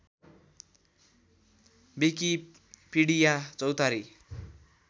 Wikipedia Chautari